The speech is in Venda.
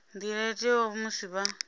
nḓila yo teaho musi vha